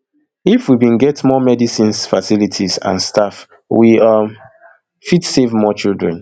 if we bin get more medicines facilities and staff we um fit save more children